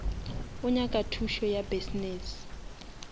o nyaka thušo ya business